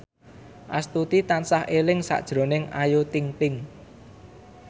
Astuti tansah eling sakjroning Ayu Ting ting